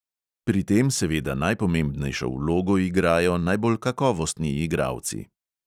Pri tem seveda najpomembnejšo vlogo igrajo najbolj kakovostni igralci.